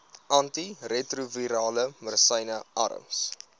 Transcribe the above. antiretrovirale medisyne arms